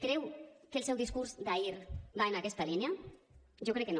creu que el seu discurs d’ahir va en aquesta línia jo crec que no